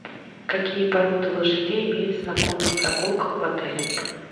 какие породы лошадей имеются на конных прогулках в отеле